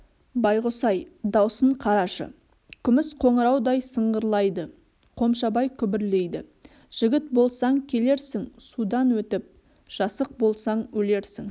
байғұс-ай даусын қарашы күміс қоңыраудай сыңғырлайды қомшабай күбірлейді жігіт болсаң келерсің судан өтіп жасық болсаң өлерсің